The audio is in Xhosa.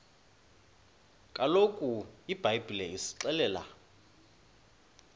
kaloku ibhayibhile isixelela